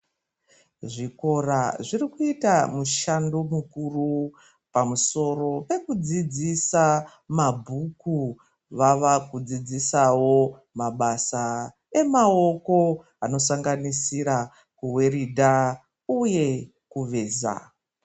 Zvikora zviri kuita mushando mukuru pamusoro pekudzidzisa mabhuku. Vava kudzidzisawo mabasa emaoko anosanganisira kuweridha uye kuveza.